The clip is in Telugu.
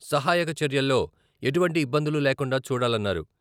సహాయక చర్యల్లో ఎటువంటి ఇబ్బందులు లేకుండా చూడాలన్నారు.